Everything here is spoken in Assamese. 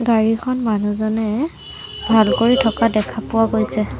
গাড়ীখন মানুহজনে ভাল কৰি থকা দেখা পোৱা গৈছে।